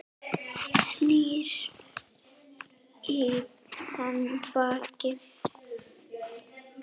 Snýr í hann baki.